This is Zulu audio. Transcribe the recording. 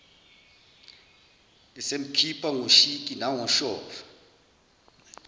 esemkhipha ngoshiki nangoshova